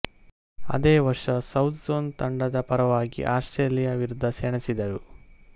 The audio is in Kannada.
ಅದೇ ವರ್ಷ ಸೌತ್ಝೋನ್ ತಂಡದ ಪರವಾಗಿ ಆಸ್ಟ್ರೇಲಿಯಾ ವಿರುದ್ಧ ಸೆಣಸಿದರು